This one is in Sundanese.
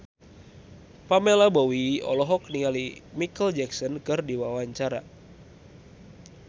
Pamela Bowie olohok ningali Micheal Jackson keur diwawancara